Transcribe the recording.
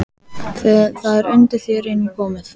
Það er undir þér einum komið